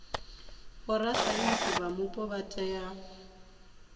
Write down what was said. vhorasaintsi vha mupo vha tea